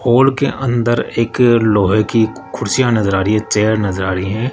Hall के अंदर एक लोहे की कुर्सियां नजर आ रही है चेयर नजर आ रही है।